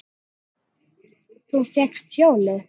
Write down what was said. Þú fékkst hjólið!